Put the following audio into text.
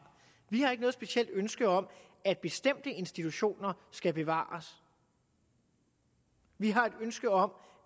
vi har ikke noget specielt ønske om at bestemte institutioner skal bevares vi har et ønske om